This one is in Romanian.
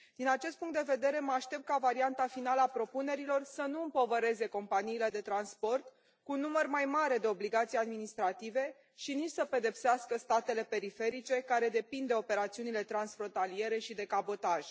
Din acest punct de vedere mă aștept ca varianta finală a propunerilor să nu împovăreze companiile de transport cu un număr mai mare de obligații administrative și nici să pedepsească statele periferice, care depind de operațiunile transfrontaliere și de cabotaj.